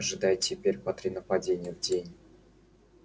ожидай теперь по три нападения в день